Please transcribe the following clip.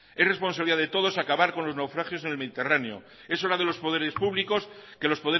es responsabilidad de todos acabar con los naufragios en el mediterráneo es hora